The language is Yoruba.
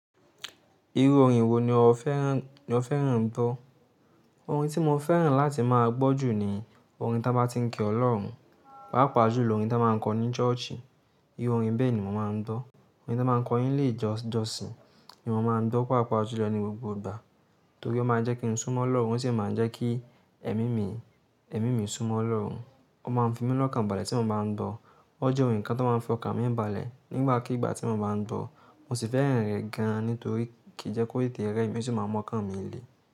Irú orin wo ni o fẹ́ràn ń bọ? Orin tí mo fẹ́ràn láti máa gbọ́ jù ní orin tá bá ti ń kí Ọlọ́run, pàápàá jùló orin tá máa ń kọ ní church i Irú orin bẹ́ẹ̀ ni mo máa ń bọ́. Orin tá máa ń kọ ní ilé ijosin ni mo máa ń bọ́ pàápàá jùló ní gbogbo ìgbà. Nitorí ó máa ń jẹ́ kí n súnmọ́ Ọlọ́run, ó sì máa ń jẹ́ kí ẹmi mi, ẹmi mi súnmọ́ Ọlọ́run. Ó máa ń fí mí lọ́kàn bálè tí mo bá ń bọ́, ọ́ jẹ́ ohun kan tó máa ń fi ọkàn mi bálè nígbà kígbà tí mo bá ń bọ́. Mo sì fẹ́ràn rẹ̀ gan-an nítorí kí í jẹ́ kó tètè rẹ mi ò sì máa mọ́kàn mí ilé.